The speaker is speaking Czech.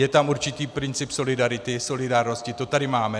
Je tam určitý princip solidarity, solidárnosti, to tady máme.